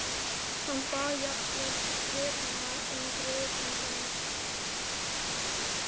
Hann bað jafnvel Bretana um grið handa mér.